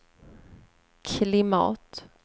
klimat